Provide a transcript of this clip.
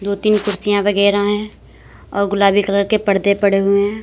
दो तीन कुर्सियां वगैरा हैं और गुलाबी कलर के पर्दे पड़े हुए हैं।